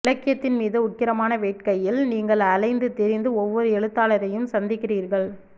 இலக்கியத்தின் மீது உக்கிரமான வேட்கையில் நீங்கள் அலைந்து திரிந்து ஒவ்வொரு எழுத்தாளரையும் சந்தித்திருக்கிறீர்கள்